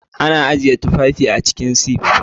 Ana ajiye tufafi a cikin sif